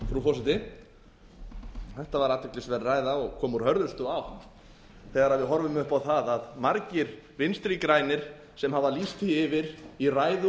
frú forseti þetta var athyglisverð ræða og kom úr hörðustu átt þegar við horfum upp á það að margir vinstri grænir sem hafa lýst því yfir í ræðu